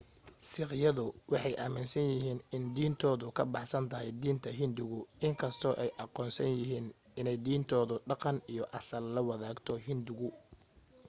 siikhyadu waxay aaminsan yihiin in diintoodu ka baxsan tahay diinta hinduuga in kastoo ay aqoonsan yihiin inay diintooda dhaqan iyo asal la wadaagto hinduuga